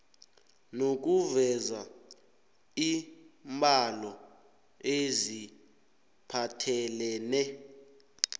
nokuveza iimbalo eziphathelene